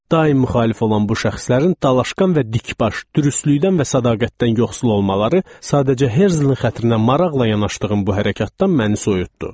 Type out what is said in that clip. Daim müxalif olan bu şəxslərin dalaşqan və dikbaş, dürüstlükdən və sədaqətdən yoxsul olmaları sadəcə Herzlin xətrinə maraqla yanaşdığım bu hərəkətdən məni soyutdu.